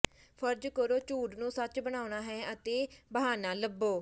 ਫਰਜ਼ ਕਰੋ ਝੂਠ ਨੂੰ ਸੱਚ ਬਣਾਉਣਾ ਹੈ ਤਾਂ ਬਹਾਨਾ ਲੱਭੋ